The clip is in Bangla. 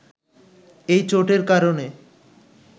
এই চোটের কারণে